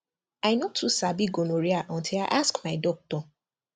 i no too sabi gonorrhea until i ask my doctor